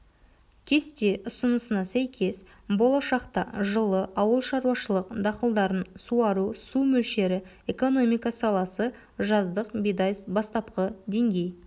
кесте ұсынысына сәйкес болашақта жылы ауылшаруашылық дақылдарын суару су мөлшері экономика саласы жаздық бидай бастапқы деңгей